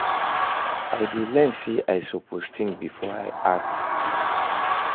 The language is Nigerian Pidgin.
I dey learn say i suppose think before i act.